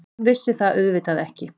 Hann vissi það auðvitað ekki.